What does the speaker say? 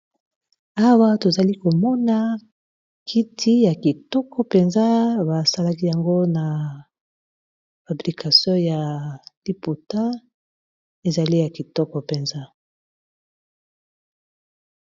Awa tozali komona kiti ya kitoko mpenza basalaki yango na fabrikation ya liputa ezali ya kitoko mpenza.